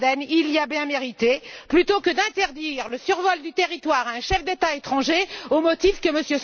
Snowden il l'a bien mérité plutôt que d'interdire le survol du territoire à un chef d'État étranger au motif que M.